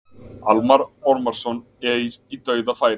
Almarr Ormarsson í dauðafæri.